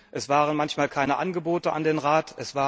Es waren manchmal fehlende Angebote an den Rat.